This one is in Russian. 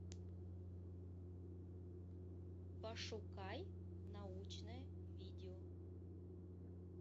пошукай научное видео